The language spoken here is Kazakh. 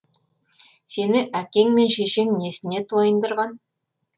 сені әкең мен шешең несіне тойындырған